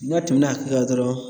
N'a tɛmɛna dɔrɔn